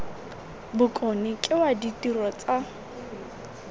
bokone ke wa ditiro tsa